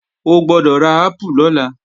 O gbọ́dọ̀ ra ápù lọ́la!